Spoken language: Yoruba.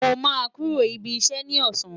Mo ma kuro ibi iṣẹ ni ọsan